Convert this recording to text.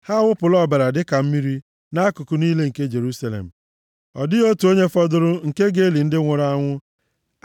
Ha awụpụla ọbara dịka mmiri nʼakụkụ niile nke Jerusalem, ọ dịghị otu onye fọdụrụ nke ga-eli ndị nwụrụ anwụ.